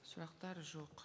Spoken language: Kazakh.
сұрақтар жоқ